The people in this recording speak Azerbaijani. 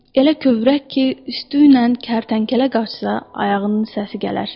Elə kövrək ki, üstü ilə kərtənkələ qaçsa, ayağının səsi gələr.